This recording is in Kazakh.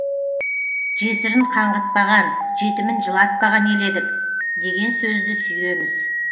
жесірін қаңғытпаған жетімін жылатпаған ел едік деген сөзді сүйеміз